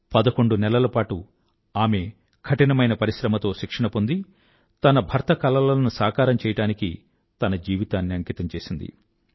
పదకొండు నెలలపాటు ఆమె కఠినమైన పరిశ్రమతో శిక్షణ పొంది తన భర్త కలలను సాకారం చెయ్యడానికి తన జీవితాన్ని అంకితం చేసింది